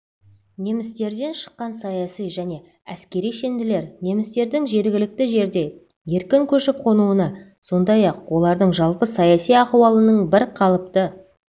немістерден шыққан саяси және әскери шенділер немістердің жергілікті жерде еркін көшіп-қонуына сондай-ақ олардың жалпы саяси ахуалының бір қалыпты